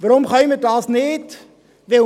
Warum können wir dies nicht tun?